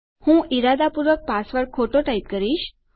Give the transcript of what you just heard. હું ઈરાદાપૂર્વક પાસવર્ડ ખોટો ટાઈપ કરીશ